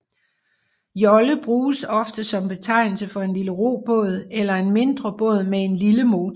Jolle bruges ofte som betegnelse for en lille robåd eller en mindre båd med en lille motor